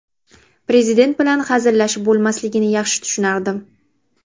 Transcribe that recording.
Prezident bilan hazillashib bo‘lmasligini yaxshi tushunardim.